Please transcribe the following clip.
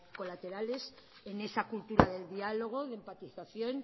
colaterales en esa cultura del diálogo de empatización